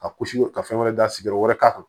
A kusi ka fɛn wɛrɛ da sigiyɔrɔ wɛrɛ k'a kan